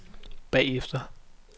bagefter